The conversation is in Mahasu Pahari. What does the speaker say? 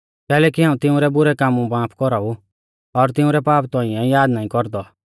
कैलैकि हाऊं तिंउरै बुरै कामु माफ कौराऊ और तिंउरै पाप तौंइऐ याद नाईं कौरदौ